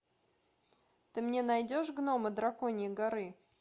ты мне найдешь гномы драконьей горы